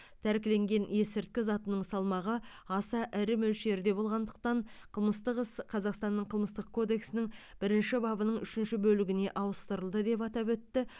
тәркіленген есірткі затының салмағы аса ірі мөлшерде болғандықтан қылмыстық іс қазақстанның қылмыстық кодексінің бірінші бабының үшінші бөлігіне ауыстырылды деп атап өтті